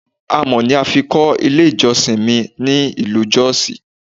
Amọ̀ ni a fi kọ́ ilé ìjọsìn mi ní ìlú jọ́ọ̀sì.